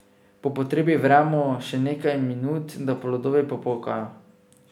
Po potrebi vremo še nekaj minut, da plodovi popokajo.